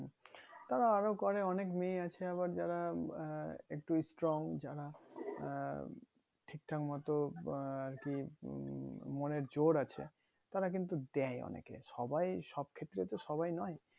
তারা আরো করে অনেক মেয়ে আছে আবার যারা আহ একটু strong যারা আহ ঠিক ঠাক মতো বাহ আরকি উম মনের জোর আছে তারা কিন্তু দেয় অনেকে সবাই সব ক্ষেত্রে তো সবাই নোই